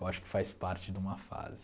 Eu acho que faz parte de uma fase.